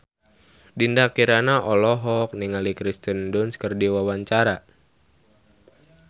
Dinda Kirana olohok ningali Kirsten Dunst keur diwawancara